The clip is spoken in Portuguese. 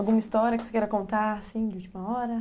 Alguma história que você queira contar, assim, de última hora.